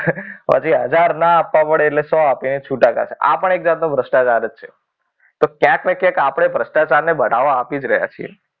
પછી હજાર ના આપવા પડે એટલે શું આપીને છૂટા કરીએ. આ પણ એક જાતનું ભ્રષ્ટાચાર જ છે. તો ક્યાંક ને ક્યાંક આપણે ભ્રષ્ટાચાર ને બધાઓ આપી જ રહ્યા છીએ.